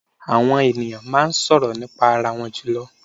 Àwọn è̀nìyàn máa ń sọ̀rọ̀ nípa arawọn jùlọ.